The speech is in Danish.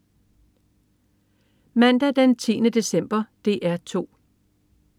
Mandag den 10. december - DR 2: